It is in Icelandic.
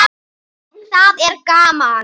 Það er gaman.